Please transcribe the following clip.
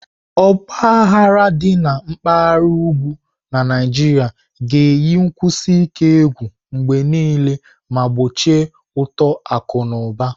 Ọgba aghara dị na mpaghara ugwu na Naijiria ga-eyi nkwụsi ike mgbe niile ma gbochie uto akụ na ụba.